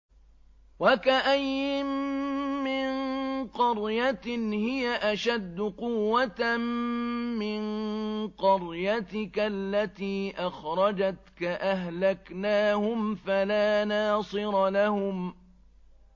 وَكَأَيِّن مِّن قَرْيَةٍ هِيَ أَشَدُّ قُوَّةً مِّن قَرْيَتِكَ الَّتِي أَخْرَجَتْكَ أَهْلَكْنَاهُمْ فَلَا نَاصِرَ لَهُمْ